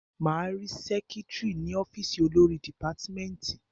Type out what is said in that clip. Máa rí sẹ́kítrì ní ọ́fìsì olórí dìpátmẹ́tì.